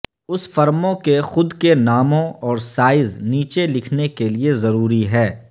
اس فرموں کے خود کے ناموں اور سائز نیچے لکھنے کے لئے ضروری ہے